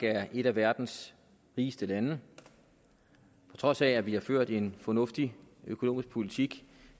er et af verdens rigeste lande på trods af at vi har ført en fornuftig økonomisk politik i